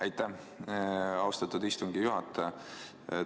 Aitäh, austatud istungi juhataja!